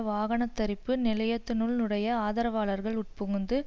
வாகன தரிப்பு நிலையத்தினுள் னுடைய ஆதரவாளர்கள் உட்புகுந்து